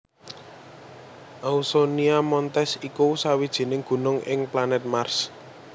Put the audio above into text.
Ausonia Montes iku sawijining gunung ing planèt Mars